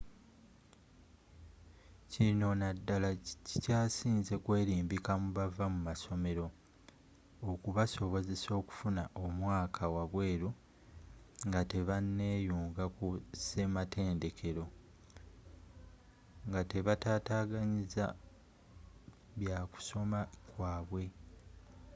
kino naddala kikyasinze kwelimbika mu bava mu masomero okubasobozesa okufuna omwaka wabweru nga tebaneeyunga ku ssematendekero ngatebataataganyiza byakusoma kwabwe